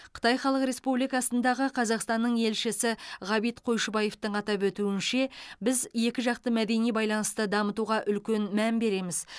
қытай халық республикасындағы қазақстанның елшісі ғабит қойшыбаевтың атап өтуінше біз екіжақты мәдени байланысты дамытуға үлкен мән береміз